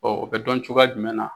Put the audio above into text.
Ɔ bɛ dɔn cogoya jumɛn na